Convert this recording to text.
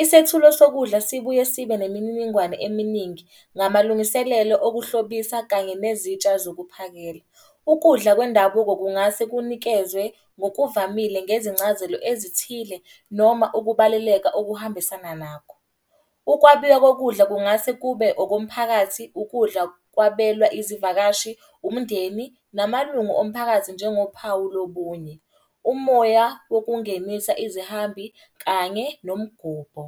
Isethulo sokudla sibuye sibe nemininingwane eminingi ngamalungiselelo okuhlobisa kanye nezintsha zokuphakela. Ukudla kwendabuko kungase kunikezwe ngokuvamile ngezincazelo ezithile noma ukubaluleka okuhambisana nakho. Ukwabiwa kokudla kungase kube okomphakathi. Ukudla kwabelwa izivakashi, umndeni namalungu omphakathi. Njengophawu lobunye, umoya wokungenisa izihambi kanye nomgubho.